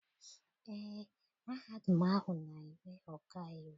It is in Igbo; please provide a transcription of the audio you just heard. Eé, mahadum ahụ na- eme ọkaiwu.